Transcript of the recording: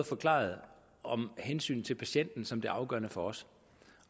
forklaret om hensynet til patienten som det afgørende for os